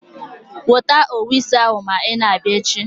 Weta owu isi ahụ ma ị na-abịa echi.